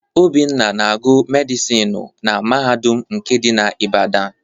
Obinna na-agụ medịsinu na mahadum nke dị na Ibadan.